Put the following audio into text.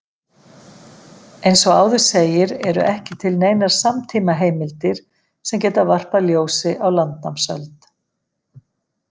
Eins og áður segir eru ekki til neinar samtímaheimildir sem geta varpað ljósi á landnámsöld.